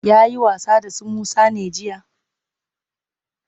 Ya yi wasa da su Musa ne jiya?